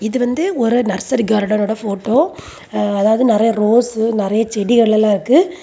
இது வந்து ஒரு நர்சரி கார்டன் ஓட ஃபோட்டோ அதாவது நெரைய ரோசூ நெறைய செடிகளாம் இருக்கு.